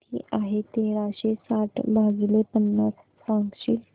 किती आहे तेराशे साठ भाग पन्नास सांगशील